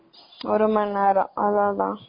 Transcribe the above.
ஒரு மணி நேரம் அவ்ளோதான்.